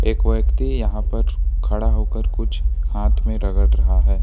एक व्यक्ति यहां पर खड़ा होकर कुछ हाथ में रगड़ रहा है।